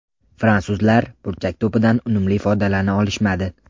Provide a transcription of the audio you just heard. Fransuzlar burchak to‘pidan unumli foydalana olishmadi.